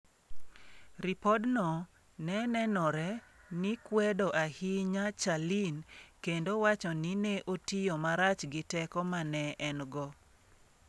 Ripodno ne nenore ni kwedo ahinya Charline kendo wacho ni ne otiyo marach gi teko ma ne en go.